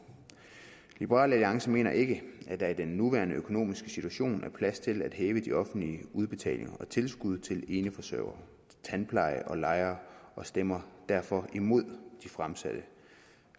liberal alliance mener ikke at der i den nuværende økonomiske situation er plads til at hæve de offentlige udbetalinger og tilskud til eneforsørgere tandpleje og lejere og stemmer derfor imod de fremsatte